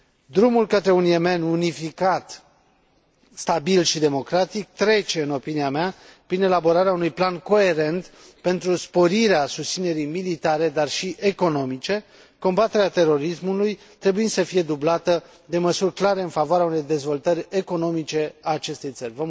Drumul către un Yemen unificat, stabil și democratic, trece, în opinia mea, prin elaborarea unui plan coerent pentru sporirea susținerii militare, dar și economice, combaterea terorismului trebuind să fie dublată de măsuri clare în favoarea unei dezvoltări economice a acestei țări.